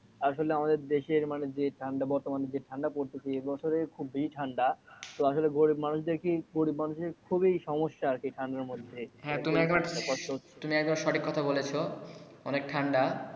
আসলে আমাদের দেশের যে ঠান্ডা বর্তমানে যে ঠান্ডা পড়ছে এ বছরে খুবই ঠান্ডা তো আসলে গরিব মানুষদের গরিব মানুষদের খুবই সমস্যা আর কি ঠান্ডার মধ্যে হ্যা তুমি একবারে তুমি একবারে সঠিক কথা বলেছো।